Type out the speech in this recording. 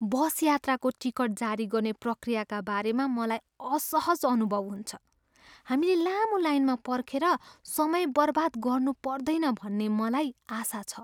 बसयात्राको ticket जारी गर्ने प्रक्रियाका बारेमा मलाई असहज अनुभव हुन्छ, हामीले लामो लाइनमा पर्खेर समय बर्बाद गर्नुपर्दैन भन्ने मलाई आशा छ।